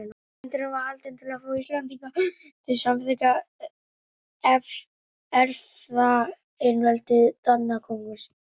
Fundurinn var haldinn til þess að fá Íslendinga til að samþykkja erfðaeinveldi Danakonungs.